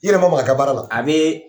I yɛrɛ ma maka a ka baara la, a bɛɛ